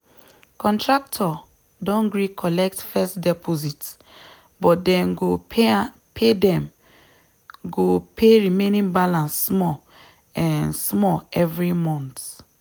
contractor don gree collect first deposit but dem go pay dem go pay remaining balance small um small every month